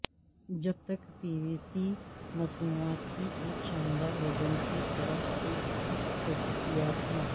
جب تک پیویسی مصنوعات کی ایک شاندار وزن کی طرف سے خصوصیات ہیں